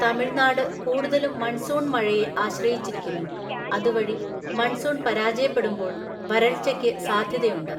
തമിഴ്‌നാട് കൂടുതലും മൺസൂൺ മഴയെ ആശ്രയിച്ചിരിക്കുന്നു, അതുവഴി മൺസൂൺ പരാജയപ്പെടുമ്പോൾ വരൾച്ചയ്ക്ക് സാധ്യതയുണ്ട്.